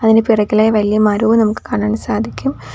അതിന് പിറകിലായി വലിയ മരവും നമുക്ക് കാണാൻ സാധിക്കും.